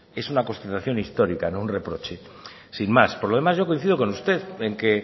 es una constatación histórica no un reproche sin más por lo demás yo coincido con usted en que